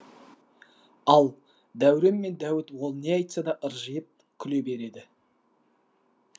ал дәурен мен дәуіт ол не айтсада ыржиып күле береді